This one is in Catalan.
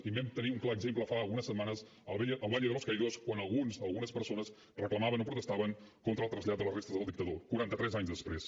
i en vam tenir un clar exemple fa unes setmanes al valle de los caídos quan algunes persones reclamaven o protestaven contra el trasllat de les restes del dictador quaranta tres anys després